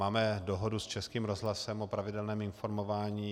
Máme dohodu s Českým rozhlasem o pravidelném informování.